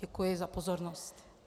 Děkuji za pozornost.